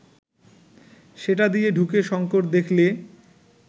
সেটা দিয়ে ঢুকে শঙ্কর দেখলে